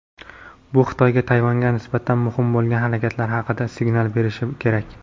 Bu Xitoyga Tayvanga nisbatan mumkin bo‘lgan harakatlari haqida signal berishi kerak.